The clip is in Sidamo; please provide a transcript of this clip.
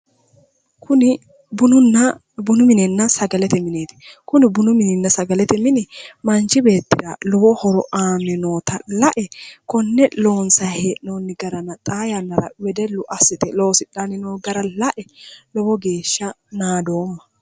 Kuni bununna ,bununna sagalete mineeti ,kuni bununna sagalete mini manchi beettira lowo horo aani nootta lae kone loonsani hee'nonni gara xaa yannara wedellu assite loosidhanni no gara lae lowo geeshsha naadoomma".